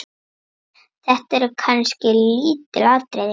Þetta eru kannski lítil atriði.